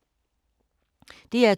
DR2